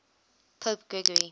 pope gregory